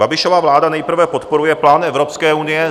Babišova vláda nejprve podporuje plán Evropské unie